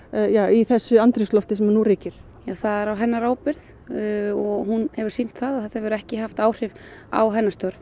í þessu andrúmslofti sem nú ríkir það er á hennar ábyrgð hún hefir sýnt það að þetta hefur ekki haft áhrif á hennar störf